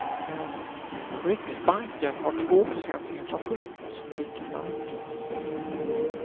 Riksbanken har två procents inflation som riktmärke.